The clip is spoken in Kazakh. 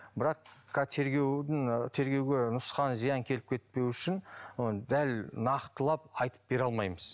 бірақ тергеудің тергеуге нұсқан зиян келіп кетпеу үшін оны дәл нақтылап айтып бере алмаймыз